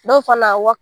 Dɔw fana wa